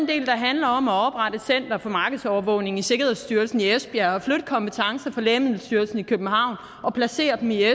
del der handler om at oprette center for markedsovervågning i sikkerhedsstyrelsen i esbjerg og flytte kompetencer fra lægemiddelstyrelsen i københavn og placere dem i